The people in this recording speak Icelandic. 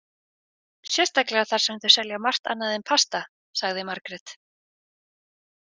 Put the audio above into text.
Sérstaklega þar sem þau selja margt annað en pasta, sagði Margrét.